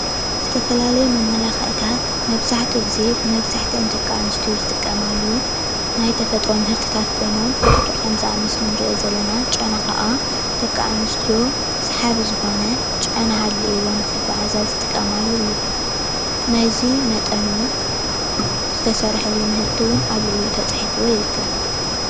ዝተፈላለየ መመላኽዒታት መብዛሕትኡ ግዜ መብዛሕቲአን ደቂ ኣንስትዮ ዝጥቀማሉ፣ ናይ ተፈጥሮ ምህርትታት ኮይኖም ልክዕ ከምዚ ኣብ ምስሊ ንርእዮ ዘለና ጨና ካዓ ደቂ ኣንስትዮ ስሓቢ ዝኾነ ጨና ሃልይወን ንክጓዓዛ ዝጥቀማሉ እዩ። ናይዚ መጠኑ ዝተሰርሐሉ ምህርቲ እዉን ኣብ ልዕሊኡ ተጻሒፉሉ ይርከብ